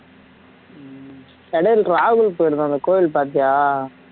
ராகுல் போயிருந்தானே கோயில் பாத்தியா